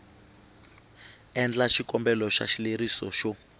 endla xikombelo xa xileriso xo